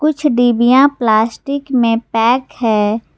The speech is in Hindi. कुछ डिबिया प्लास्टिक में पैक हैं।